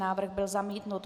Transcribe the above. Návrh byl zamítnut.